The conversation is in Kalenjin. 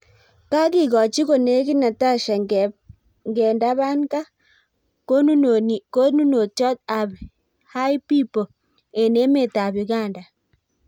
Kagegochi konegit Natasha Ngendabanka konnunotyot ap hi pipo eng emet ap Uganda.